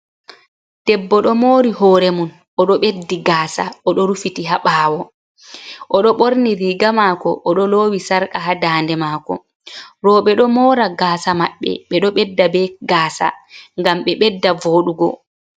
Debbo ɗo mori hoore mum oɗo ɓeddi gasa oɗo rufiti ha ɓawo, oɗo ɓorni riiga mako oɗo loowi sarka ha daande maako. Roɓe ɗo mora gasa maɓɓe ɓeɗo ɓedda be gasa ngam ɓe ɓedda voɗugo.